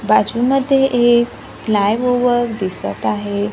बाजूमध्ये एक flyover दिसतं आहे.